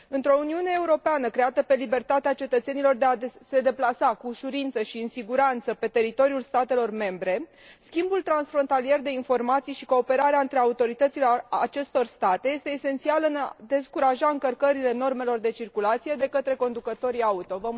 Într o Uniune Europeană creată pe libertatea cetățenilor de a se deplasa cu ușurință și în siguranță pe teritoriul statelor membre, schimbul transfrontalier de informații și cooperarea între autoritățile acestor state sunt esențiale în a descuraja normele încălcărilor de circulație de către conducătorii auto.